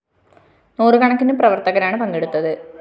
നൂറു കണക്കിന് പ്രവര്‍ത്തകരാണ് പങ്കെടുത്തത്